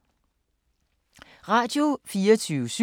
Radio24syv